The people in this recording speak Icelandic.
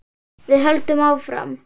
Við höldum áfram.